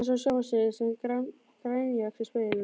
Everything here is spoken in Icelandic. Hann sá sjálfan sig sem grænjaxl í speglinum.